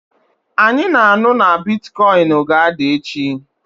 Anyị na-anụ na bịtịkọyịnị ga-ada echi